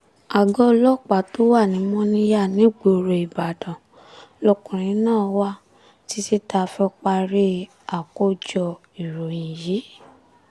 àgọ́ ọlọ́pàá tó wà ní mòníyà nígboro ìbàdàn lọkùnrin náà wà títí tá a fi parí àkójọ ìròyìn yìí